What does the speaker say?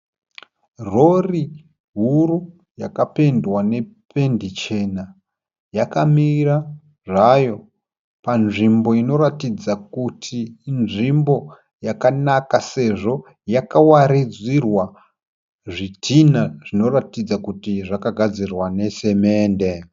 Rori huru yakapendwa nependi chena. Yakamira zvayo panzvimbo inoratidza kuti inzvimbo yakanaka sezvo yakawaridzirwa zvidhina zvinoratidza kuti zvakagadzirwa nesimende.